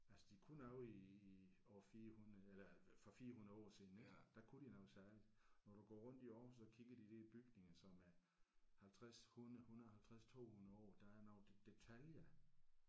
Altså de kunne noget i i år 400 eller for 400 år siden ik der kunne de noget særligt. Når du går rundt i Aarhus og kigger de der bygninger som er 50 100 150 200 år der er noget detalje